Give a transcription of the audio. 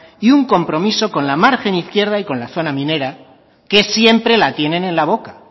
y un compromiso con la margen izquierda y con la zona minera que siempre la tienen en la boca